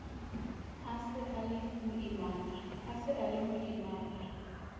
a se a le moimana